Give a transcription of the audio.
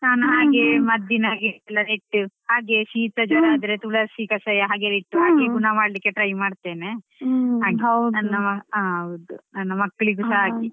ನಾನು ಹಾಗೆ ಮದ್ದಿನ ಹಾಗೆ ಎಲ್ಲ ಹಾಗೆ ಶೀತ ಜ್ವರ ಎಲ್ಲಾ ಆದ್ರೆ ತುಳಸಿ ಕಷಾಯ ಹಾಗೆಲ್ಲ ಇತ್ತು ಹಾಗೆ ಗುಣ ಮಾಡ್ಲಿಕ್ಕೆ try ಮಾಡ್ತೇನೆ.